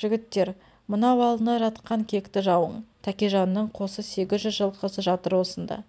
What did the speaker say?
жігіттер мынау алдында жатқан кекті жауың тәкежанның қосы сегіз жүз жылқысы жатыр осында